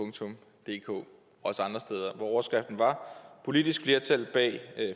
også andre steder hvor overskriften var politisk flertal bag